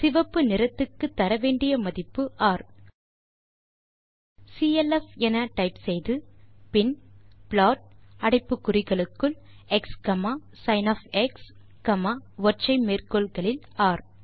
சிவப்பு நிறத்துக்கு தர வேண்டிய மதிப்பு ர் ஆகவே சிஎல்எஃப் என டைப் செய்து பின் ப்ளாட் அடைப்பு குறிகளுக்குள் xsinஒற்றை மேற்கோள் குறிகளில் ர்